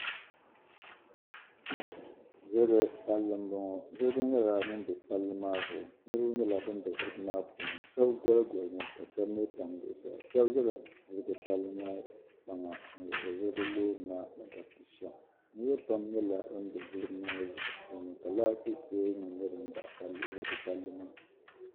Ziliji palli m bɔŋɔ, ziliji nyɛla ŋun bɛ palli maa zuɣu. niribi nyɛla ban bɛ ziliji maa puuni shabi goligolimi la shabi mi tam zuɣu saa shabi ʒala ziliji palli maa kpaŋa n lihiri ziliji lɔɔri maa. ni di zuɣu saa sham niribi pam nyɛla ban be ziliji maani, la laati pooli nim nyɛ din baɣi palli maa